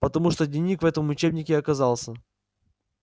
потому что дневник в этом учебнике оказался